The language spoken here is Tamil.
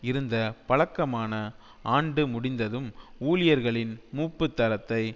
இருந்த பழக்கமான ஆண்டு முடிந்ததும் ஊழியர்களின் மூப்புத் தரத்தை